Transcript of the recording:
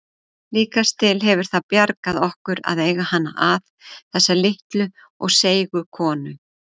Líkast til hefur það bjargað okkur að eiga hana að, þessa litlu og seigu konu.